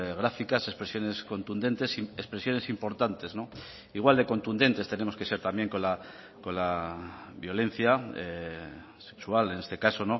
gráficas expresiones contundentes expresiones importantes igual de contundentes tenemos que ser también con la violencia sexual en este caso